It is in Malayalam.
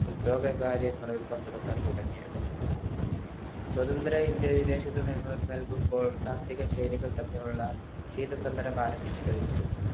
ലോക കാര്യങ്ങളിൽ പങ്കെടുക്കാൻ തുടങ്ങിയത് സ്വതന്ത്ര ഇന്ത്യയുടെ വിദേശ നയങ്ങൾ നൽകുമ്പോൾ തമ്മിലുള്ള ക്ഷീത സമരം ആരംഭിച്ചു കഴിഞ്ഞിരുന്നു